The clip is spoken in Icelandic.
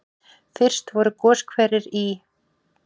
Fyrst voru goshverir í